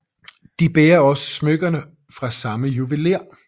De bærer også smykker fra samme juvelér